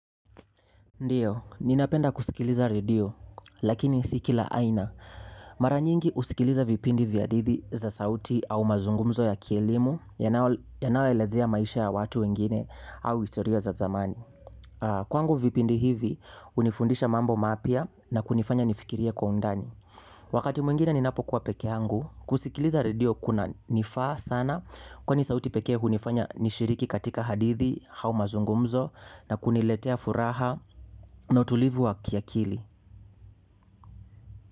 Ndiyo, ninapenda kusikiliza redio, lakini si kila aina. Mara nyingi husikiliza vipindi vya hadithi za sauti au mazungumzo ya kielimu yanayoelezea maisha ya watu wengine au historia za zamani. Kwangu vipindi hivi, hunifundisha mambo mapya na kunifanya nifikirie kwa undani. Wakati mwingine ninapokuwa peke yangu kusikiliza redio kunanifaa sana kwani sauti pekee hunifanya nishiriki katika hadithi au mazungumzo na kuniletea furaha na utulivu wa kiakili.